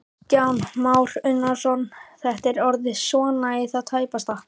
Kristján Már Unnarsson: Þetta er orðið svona í það tæpasta?